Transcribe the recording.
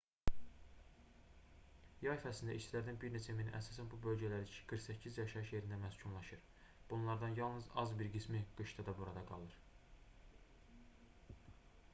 yay fəslində işçilərdən bir neçə mini əsasən bu bölgələrdəki qırx səkkiz yaşayış yerində məskunlaşır bunlardan yalnız az bir qismi qışda da burada qalır